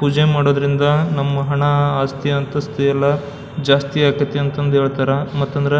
ಪೂಜೆ ಮಾಡೋದ್ರಿಂದ ನಮ್ ಹಣ ಆಸ್ತಿ ಅಂತಸ್ತು ಎಲ್ಲ ಜಾಸ್ತಿ ಆಗತೈತಿ ಅಂತ ಹೇಳತರ ಮತ್ತ ಅಂದ್ರ